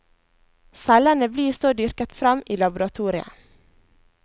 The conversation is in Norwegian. Cellene blir så dyrket frem i laboratoriet.